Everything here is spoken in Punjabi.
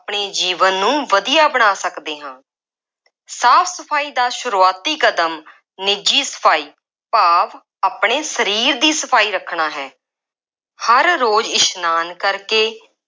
ਆਪਣੇ ਜੀਵਨ ਨੂੰ ਵਧੀਆ ਬਣਾ ਸਕਦੇ ਹਾਂ। ਸਾਫ ਸਫਾਈ ਦਾ ਸ਼ੁਰੂਆਤੀ ਕਦਮ ਨਿੱਜੀ ਸਫਾਈ ਭਾਵ ਆਪਣੇ ਸਰੀਰ ਦੀ ਸਫਾਈ ਰੱਖਣਾ ਹੈ। ਹਰ ਰੋਜ਼ ਇਸ਼ਨਾਨ ਕਰਕੇ,